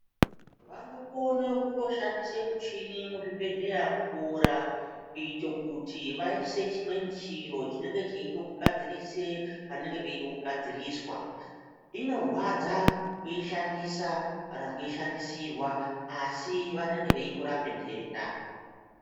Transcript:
Vanokone kutoshandise muchini muzvibhedhlera kuboora kuite kuti vaise chimweni chiro chinenge cheide kugadzirise panenge peide kugadziriswa. Inorwadza kuishandisa kana kuishandisirwa asi vanenge veitorape nhenda.